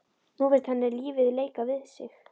Nú finnst henni lífið leika við sig.